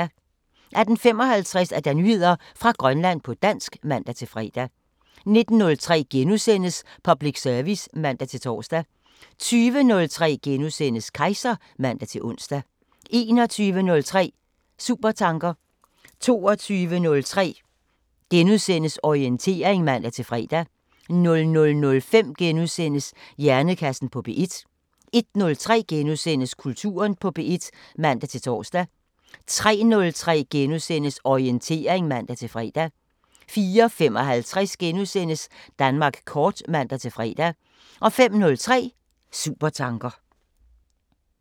18:55: Nyheder fra Grønland på dansk (man-fre) 19:03: Public service *(man-tor) 20:03: Kejser *(man-ons) 21:03: Supertanker 22:03: Orientering *(man-fre) 00:05: Hjernekassen på P1 * 01:03: Kulturen på P1 *(man-tor) 03:03: Orientering *(man-fre) 04:55: Danmark kort *(man-fre) 05:03: Supertanker